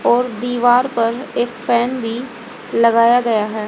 और दीवार पर एक फैन भी लगाया गया है।